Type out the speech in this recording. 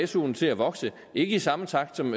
suen til at vokse ikke i samme takt som